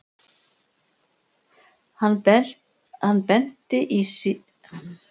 Hann benti sífellt á stelpur sem honum fannst meiriháttar pæjur en Örn hafði engan áhuga.